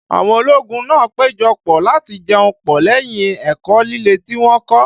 Àwọn ológun náà péjọ pọ̀ láti jẹun pọ̀ lẹ́yìn ẹ̀kọ́ líle tí wọ́n kọ́